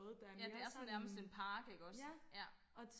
ja det er sådan nærmest en park iggås ja